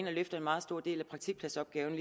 løfter en meget stor del af praktikpladsopgaven